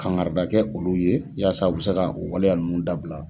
Kangarida kɛ olu ye yaasa u bɛ se ka o waleya ninnu dabila.